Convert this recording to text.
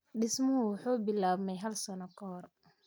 Dhismuhu wuxuu bilaabmay hal sano ka hor.